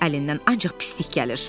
Əlindən ancaq pislik gəlir.